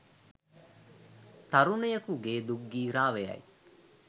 තරුණයකුගේ දුක් ගී රාවයයි